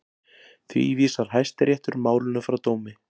Því vísar Hæstiréttur málinu frá dómi